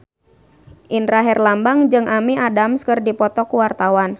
Indra Herlambang jeung Amy Adams keur dipoto ku wartawan